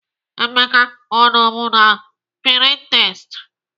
Emeka ọ nọbu na Pininterest?